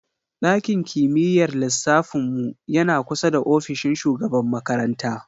Ɗakin kimiyyar lissafin mu yana kusa da ofishin shugaban makaranta.